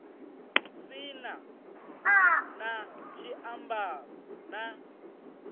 si na na tshiambaro na